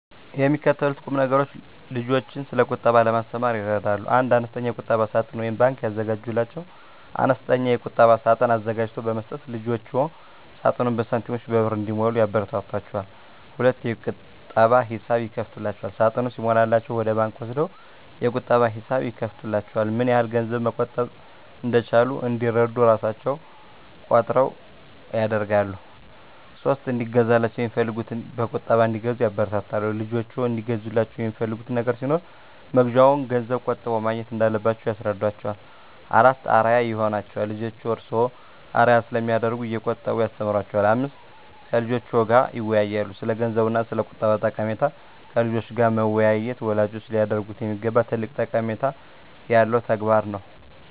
የሚከተሉት ቁምነገሮች ልጆችን ስለቁጠባ ለማስተማር ይረዳሉ 1. አነስተኛ የቁጠባ ሳጥን (ባንክ) ያዘጋጁላቸው፦ አነስተኛ የቁጠባ ሳጥን አዘጋጅቶ በመስጠት ልጆችዎ ሳጥኑን በሳንቲሞችና በብር እንዲሞሉ ያበረታቷቸው። 2. የቁጠባ ሂሳብ ይክፈቱላቸው፦ ሳጥኑ ሲሞላላቸው ወደ ባንክ ወስደው የቁጠባ ሂሳብ ይክፈቱላቸው። ምንያህል ገንዘብ መቆጠብ እንደቻሉ እንዲረዱ እራሣቸው እቆጥሩ ያድርጉ። 3. እንዲገዛላቸው የሚፈልጉትን በቁጠባ እንዲገዙ ያበረታቱ፦ ልጆችዎ እንዲገዙላቸው የሚፈልጉት ነገር ሲኖር መግዣውን ገንዘብ ቆጥበው ማግኘት እንዳለባቸው ያስረዷቸው። 4. አርአያ ይሁኗቸው፦ ልጆችዎ እርስዎን አርአያ ስለሚያደርጉ እየቆጠቡ ያስተምሯቸው። 5. ከልጆችዎ ጋር ይወያዩ፦ ስለገንዘብ እና ስለቁጠባ ጠቀሜታ ከልጆች ጋር መወያየት ወላጆች ሊያደርጉት የሚገባ ትልቅ ጠቀሜታ ያለው ተግባር ነው።